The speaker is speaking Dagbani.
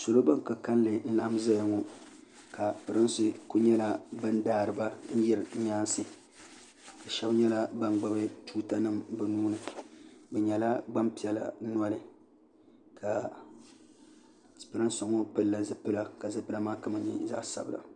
salo bin ka kanli n laɣam ʒɛya ŋo salo bin ka pirinsi ku daariba yiri nyaansi shab nyɛla ban gbubi tuuta nim bi nuuni bi nyɛla Gbanpiɛla noli pirinsi ŋo pilila zipila ka zipila maa kama nyɛ zaɣ sabila